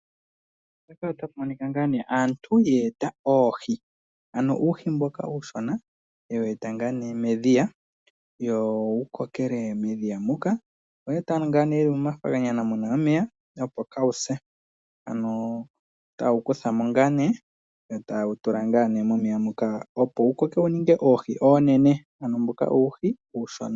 Mpaka otapu monika ngaa nee aantu yeeta oohi. Ano uuhi mboka uushona yewu eta ngaa nee medhiya wo wu kokele medhiya muka. Oyewu eta ngaa momafaganyana muna omeya opo kaawuse. Ano taawu kuthamo ngaa nee yo taawu tula ngaa nee momeya moka opo wu kokeke wu ninge oohi onene. Ano mbuka uuhi uushona.